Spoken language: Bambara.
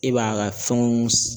E b'a ka fɛnw